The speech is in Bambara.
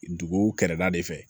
Duguw kɛrɛda de fɛ